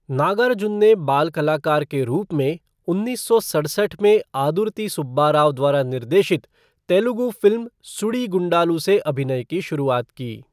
नागार्जुन ने बाल कलाकार के रूप में उन्नीस सौ सड़सठ में आदुर्ति सुब्बा राव द्वारा निर्देशित तेलुगु फ़िल्म सुडीगुंडालु से अभिनय की शुरुआत की।